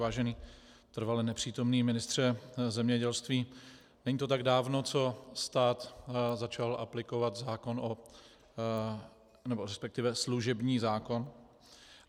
Vážený trvale nepřítomný ministře zemědělství, není to tak dávno, co stát začal aplikovat služební zákon.